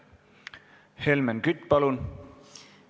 Helmen Kütt, palun!